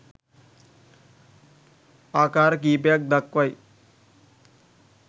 ආකාර කීපයක් දක්වයි